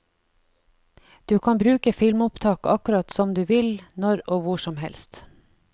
Du kan bruke filmopptak akkurat som du vil, når og hvor som helst.